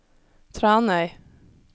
Tranøy